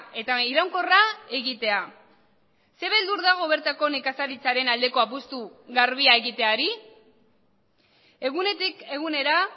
eta iraunkorra egitea ze beldur dago bertako nekazaritzaren aldeko apustu garbia egiteari egunetik egunera